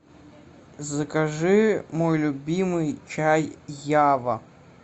закажи мой любимый чай ява